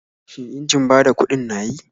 Shin injin bada kuɗin na yi?